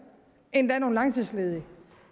endda nogle langtidsledige